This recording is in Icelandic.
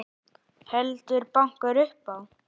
Heldur bankar upp á.